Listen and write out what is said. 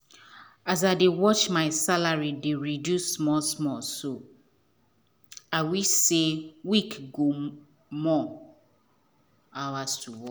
as i dey watch my salary dey reduce small small so I wish say week go more hours to work.